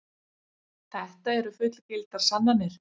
Þetta eru fullgildar sannanir.